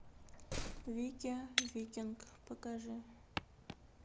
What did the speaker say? витя викинг покажи